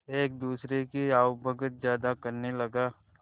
एक दूसरे की आवभगत ज्यादा करने लगा